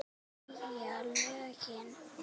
Hvað segja lögin?